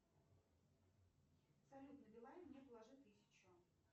салют на билайн мне положи тысячу